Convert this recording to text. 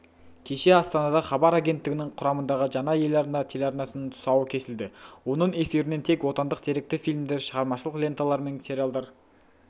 кеше астанада хабар агенттігінің құрамындағы жаңа ел арна телеарнасының тұсауы кесілді оның эфирінен тек отандық деректі фильмдер шығармашылық ленталар мен сериалдар